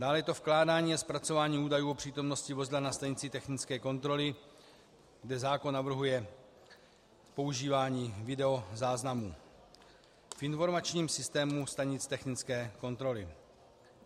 Dále je to vkládání a zpracovávání údajů o přítomnosti vozidla ve stanici technické kontroly, kde zákon navrhuje používání videozáznamů v informačním systému stanic technické kontroly.